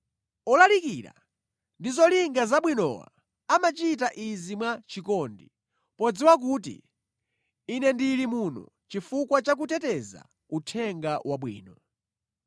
Olalikira ndi zolinga zabwinowa amachita izi mwachikondi, podziwa kuti ine ndili muno chifukwa cha kuteteza Uthenga Wabwino.